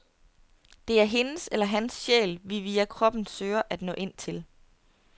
Det er hendes eller hans sjæl, vi via kroppen søger at nå ind til.